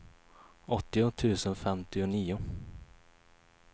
åttio tusen femtionio